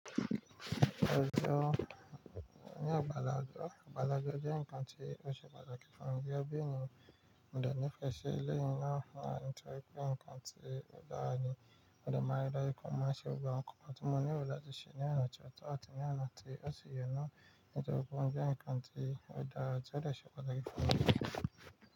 Ọjọ́ ní ọ̀gbàlàgbà, ọ̀gbàlàgbà jẹ́ ǹkan tí ó ṣe pàtàkì fún mi bí eniyan Mo de nífẹ̀ẹ́ i eléyii náà nítorí pé ǹkan tí ó dára ni. Mo de máa ń ri daaju pe mo máa ń ṣe gbogbo awon nkannkan tí mo nílò láti ṣe ní ọ̀nà tó ọ̀tọ̀ àti ní ọ̀nà tí ó si ye na. Nítorí pé mo jẹ́ enikan tí ó dára, ti ó de pàtàkì fún mi.